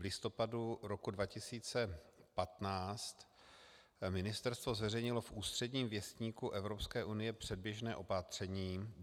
V listopadu roku 2015 ministerstvo zveřejnilo v Úředním věstníku Evropské unie předběžné opatření.